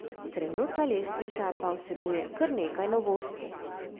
Trenutna lestvica pa vsebuje kar nekaj novosti.